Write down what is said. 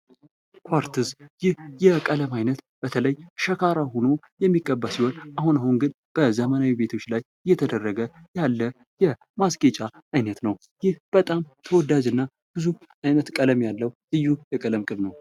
ኩአርትዝ ይህ የቀለም አይነት በተለይ ሸካራ ሆኖ የሚቀባ ሲሆንአሁን አሁን ግን በዘመናዊ ቤቶች ላይ የተደረገ ያለ የማስጌጫ አይነት ነው ይህ በጣም ተወዳጅና ብዙ አይነት ቀለም ያለው ልዩ የቀለም ቅብ ነው ::